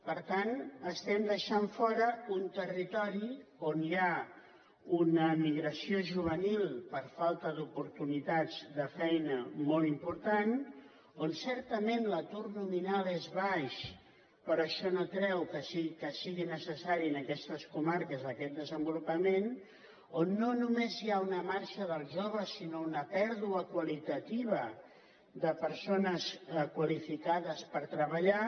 per tant deixem fora un territori on hi ha una migració juvenil per falta d’oportunitats de feina molt important on certament l’atur nominal és baix però això no treu que sigui necessari en aquestes comarques aquest desenvolupament on no només hi ha una marxa dels joves sinó una pèrdua qualitativa de persones qualificades per treballar